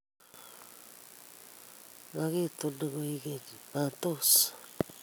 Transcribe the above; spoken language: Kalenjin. magitunin koek keny? matos?